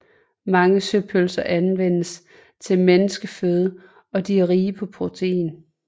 Mange søpølser anvendes til menneskeføde og de er rige på protein